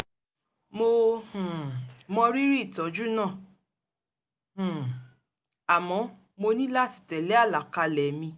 mo um mọ rírì ìtọ́jú náà um àmọ́ mo ní láti tẹ́lé àlàkalẹ̀ mi